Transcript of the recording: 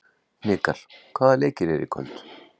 Hnikar, hvaða leikir eru í kvöld?